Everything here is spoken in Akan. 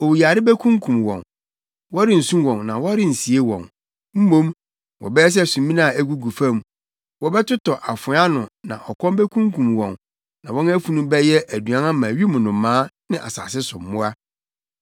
“Owuyare bekunkum wɔn. Wɔrensu wɔn na wɔrensie wɔn, mmom wɔbɛyɛ sɛ sumina a egugu fam. Wɔbɛtotɔ afoa ano na ɔkɔm bekunkum wɔn na wɔn afunu bɛyɛ aduan ama wim nnomaa ne asase so mmoa.”